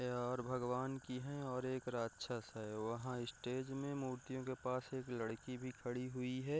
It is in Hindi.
ये और भगवान की है और एक राक्षस है वहाँ स्टेज मे मूर्तियों के पास एक लड़की भी खड़ी हुई है ।